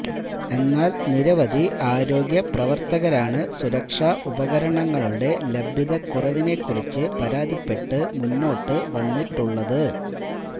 എന്നാല് നിരവധി ആരോഗ്യ പ്രവര്ത്തകരാണ് സുരക്ഷാ ഉപകരണങ്ങളുടെ ലഭ്യതക്കുറവിനേക്കുറിച്ച് പരാതിപ്പെട്ട് മുന്നോട്ട് വന്നിട്ടുള്ളത്